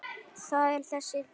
Það er þessi litur.